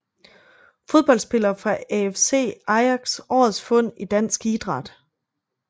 Fodboldspillere fra AFC Ajax Årets fund i dansk idræt